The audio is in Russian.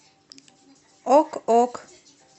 ок ок